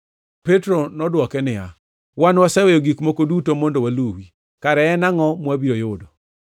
Petro nodwoke niya, “Wan waseweyo gik moko duto mondo waluwi! Kara en angʼo mwabiro yudo?”